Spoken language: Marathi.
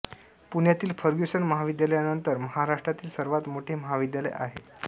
पुण्यातील फर्ग्युसन महाविद्यालयानंतर महाराष्ट्रातील सर्वात मोठे महाविद्यालय आहे